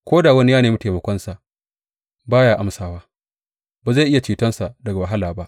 Ko da wani ya nemi taimakonsa, ba ya amsawa; ba zai iya cetonsa daga wahala ba.